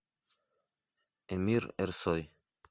эмир эрсой